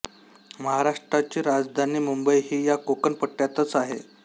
महाराष्ट्राची राजधानी मुंबई ही या कोकण पट्ट्यातच आहे